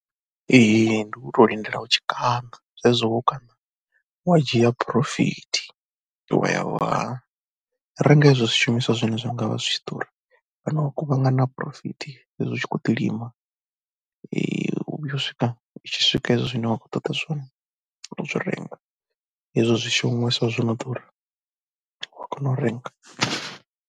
Ee ndi u tou lindela u tshi kaṋa, zwezwo wo kaṋa wa dzhia phurofithi wa ya wa renga izwo zwishumiswa zwine zwa nga vha zwi tshi khou ḓura. O no kuvhangana phurofithi zwezwi u tshi khou ḓi lima, u vhuya u swika i tshi swika hezwo zwine wa khou ṱoḓa zwone u tou zwi renga, hezwo zwishumiswa zwi no ḓura u a kona u renga.